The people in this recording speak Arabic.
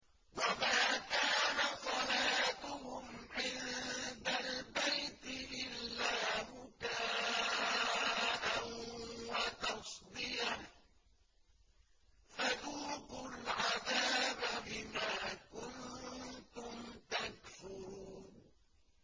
وَمَا كَانَ صَلَاتُهُمْ عِندَ الْبَيْتِ إِلَّا مُكَاءً وَتَصْدِيَةً ۚ فَذُوقُوا الْعَذَابَ بِمَا كُنتُمْ تَكْفُرُونَ